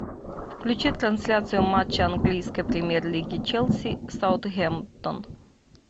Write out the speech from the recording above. включи трансляцию матча английской премьер лиги челси саутгемптон